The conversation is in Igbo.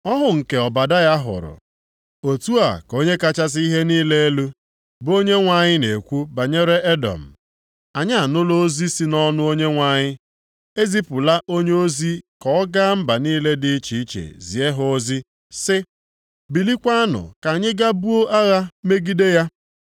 Ọhụ nke Ọbadaya hụrụ. Otu a ka Onye kachasị ihe niile elu, bụ Onyenwe anyị na-ekwu banyere Edọm. Anyị anụla ozi si nʼọnụ Onyenwe anyị, e zipụla onyeozi ka ọ gaa mba niile dị iche iche zie ha ozi, sị, “Bilikwanụ ka anyị gaa buo agha megide ya.”